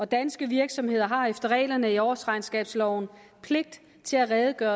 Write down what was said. danske virksomheder har efter reglerne i årsregnskabsloven pligt til at redegøre